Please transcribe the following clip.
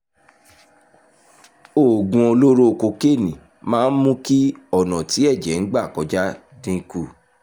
oògùn olóró kokéènì máa ń mú kí ọ̀nà tí ẹ̀jẹ̀ ń gbà kọjá dín kù